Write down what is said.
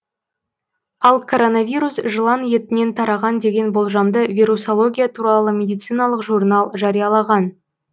ал коронавирус жылан етінен тараған деген болжамды вирусология туралы медициналық журнал жариялаған